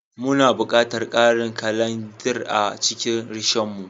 Muna buƙatar karin kalanzir a cikin Rishon mu